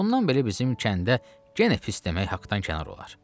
Bundan belə bizim kəndə yenə pis demək haqdan kənar olar.